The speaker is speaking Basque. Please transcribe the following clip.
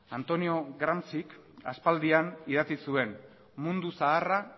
antonio gramscik aspaldian idatzi zuen mundu zaharra